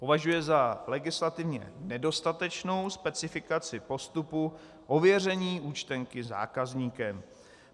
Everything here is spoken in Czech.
Považuje za legislativně nedostatečnou specifikaci postupu ověření účtenky zákazníkem.